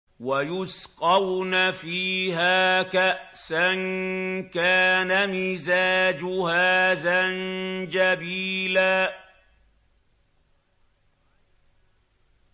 وَيُسْقَوْنَ فِيهَا كَأْسًا كَانَ مِزَاجُهَا زَنجَبِيلًا